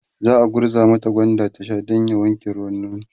za'a gurza mata gwanda ta Sha Dan ya wanke ruwan nono